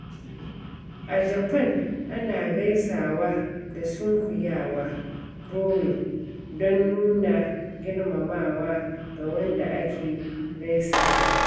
A Japan, ana gaisawa da sunkuyawa (bowing) don nuna girmamawa ga wanda ake gaisawa.